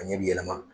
A ɲɛ bɛ yɛlɛma